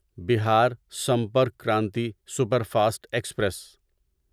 Bihar Sampark Kranti superfast express